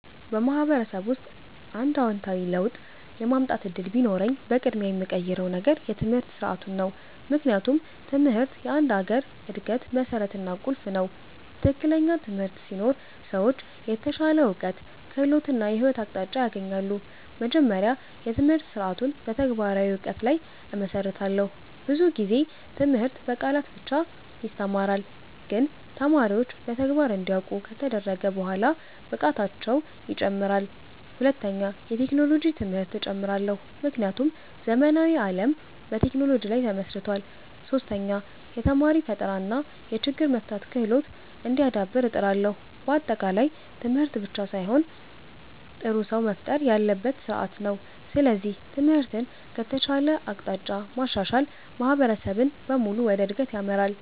በማህበረሰብ ውስጥ አንድ አዎንታዊ ለውጥ የማምጣት እድል ቢኖረኝ፣ በቅድሚያ የምቀይረው ነገር የትምህርት ስርዓቱ ነው። ምክንያቱም ትምህርት የአንድ ሀገር እድገት መሠረት እና ቁልፍ ነው። ትክክለኛ ትምህርት ሲኖር ሰዎች የተሻለ እውቀት፣ ክህሎት እና የህይወት አቅጣጫ ያገኛሉ። መጀመሪያ፣ የትምህርት ስርዓቱን በተግባራዊ እውቀት ላይ እመሰርታለሁ። ብዙ ጊዜ ትምህርት በቃላት ብቻ ይተማራል፣ ግን ተማሪዎች በተግባር እንዲያውቁ ከተደረገ በኋላ ብቃታቸው ይጨምራል። ሁለተኛ፣ የቴክኖሎጂ ትምህርት እጨምራለሁ፣ ምክንያቱም ዘመናዊ ዓለም በቴክኖሎጂ ላይ ተመስርቷል። ሶስተኛ፣ የተማሪ ፈጠራ እና የችግር መፍታት ክህሎት እንዲዳብር እጥራለሁ። በአጠቃላይ ትምህርት ብቻ ሳይሆን ጥሩ ሰው መፍጠር ያለበት ስርዓት ነው። ስለዚህ ትምህርትን ከተሻለ አቅጣጫ ማሻሻል ማህበረሰብን በሙሉ ወደ እድገት ይመራል።